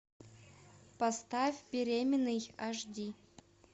поставь беременный аш ди